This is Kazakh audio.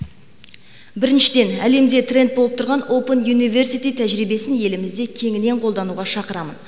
біріншіден әлемде тренд болып тұрған опен университи тәжірибесін елімізде кеңінен қолдануға шақырамын